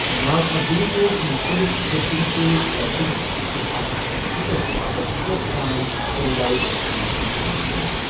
ناگ ارجنَس اوس مُختٔلِف سکرپٹَن سۭتۍ تجرُبہٕ کرنٕچ اَتھ فطرتہِ باپتھ شوقہٕ سان 'سیلولائڈ سائنٹسٹ' وننہٕ یِوان۔